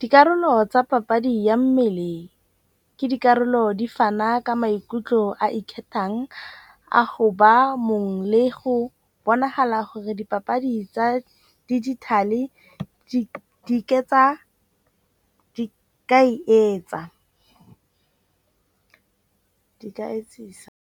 Dikarolo tsa papadi ya mmele ke dikarolo di fana ka maikutlo a ikgethang a go ba mongwe le go bonagala gore dipapadi tsa digital-e di ka e etsa, di ka etsisa.